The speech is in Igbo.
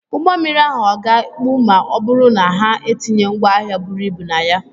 Ụgbọ mmiri ahụ ọ̀ ga-ekpu ma ọ bụrụ na ha etinye ngwaahịa buru ibu na ya?